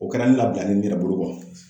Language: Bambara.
O kɛra ne labilalen ne yɛrɛ bolo kɔ.